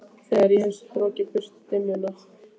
Þegar ég hef strokið burt dimmuna.